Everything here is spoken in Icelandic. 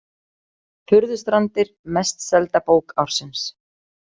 Furðustrandir mest selda bók ársins